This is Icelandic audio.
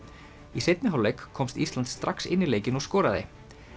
í seinni hálfleik komst Ísland strax inn í leikinn og skoraði